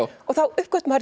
og þá uppgötvar